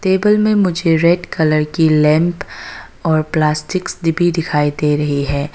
Table में मुझे red colour की लैंप और प्लास्टिक भी दिखाई दे रही है।